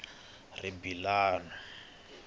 rimbilano